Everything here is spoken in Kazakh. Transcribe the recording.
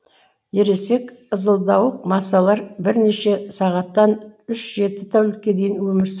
ересек ызылдауық масалар бірнеше сағаттан үш жеті тәулікке дейін өмір